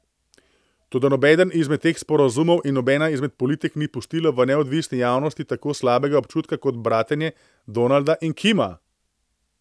Toda nobeden izmed teh sporazumov in nobena izmed politik ni pustila v neodvisni javnosti tako slabega občutka kot bratenje Donalda in Kima.